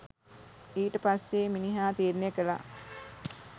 ඊට පස්සෙ මිනිහා තීරණය කළා